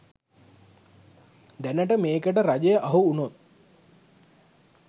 දැනට මේකට රජය අහු උනොත්